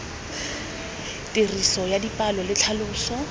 tiriso ya dipalo le tlhaloso